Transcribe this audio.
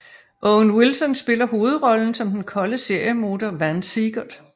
Owen Wilson spiller hovedrollen som den kolde seriemorder Vann Siegert